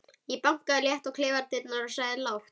Ég bankaði létt á klefadyrnar og sagði lágt